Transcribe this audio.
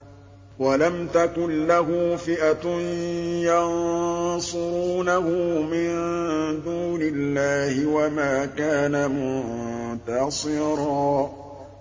وَلَمْ تَكُن لَّهُ فِئَةٌ يَنصُرُونَهُ مِن دُونِ اللَّهِ وَمَا كَانَ مُنتَصِرًا